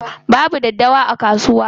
Babu daddawa a kasuwa.